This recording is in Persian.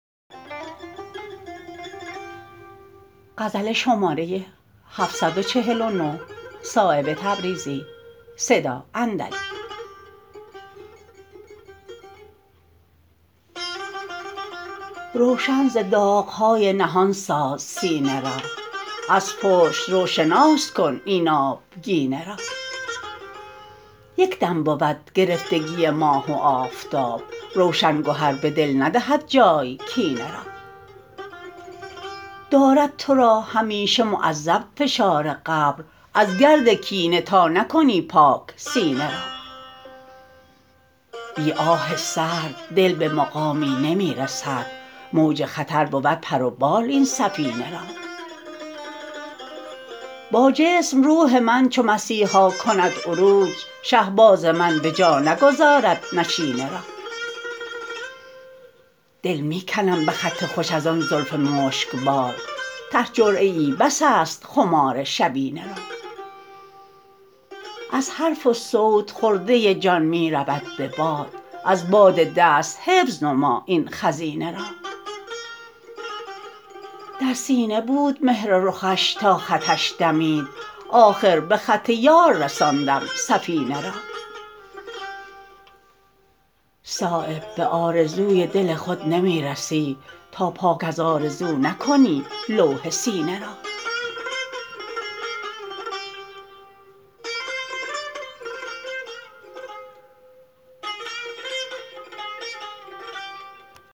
روشن ز داغ های نهان ساز سینه را از پشت رو شناس کن این آبگینه را یک دم بود گرفتگی ماه و آفتاب روشن گهر به دل ندهد جای کینه را دارد ترا همیشه معذب فشار قبر از گرد کینه تا نکنی پاک سینه را بی آه سرد دل به مقامی نمی رسد موج خطر بود پر و بال این سفینه را با جسم روحی من چو مسیحا کند عروج شهباز من به جا نگذارد نشینه را دل می کنم به خط خوش ازان زلف مشکبار ته جرعه ای بس است خمار شبینه را از حرف وصوت خرده جان می رود به باد از باد دست حفظ نما این خزینه را در سینه بود مهر رخش تا خطش دمید آخر به خط یار رساندم سفینه را صایب به آرزوی دل خود نمی رسی تا پاک از آرزو نکنی لوح سینه را